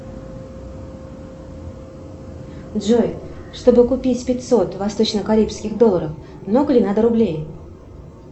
джой чтобы купить пятьсот восточно карибских долларов много ли надо рублей